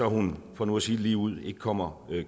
hun for nu at sige det ligeud ikke kommer